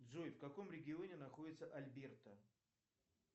джой в каком регионе находится альберта